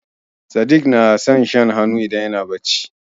Sadik na son shan hannu idan yana barci.